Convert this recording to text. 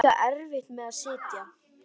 Hún átti líka erfitt með að sitja.